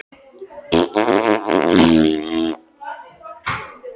Já, hann kom með þá yfirlýsingu að hann vildi fara.